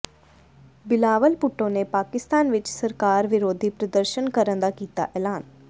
ਬਿਲਾਵਲ ਭੁੱਟੋ ਨੇ ਪਾਕਿਸਤਾਨ ਵਿਚ ਸਰਕਾਰ ਵਿਰੋਧੀ ਪ੍ਰਦਰਸ਼ਨ ਕਰਨ ਦਾ ਕੀਤਾ ਐਲਾਨ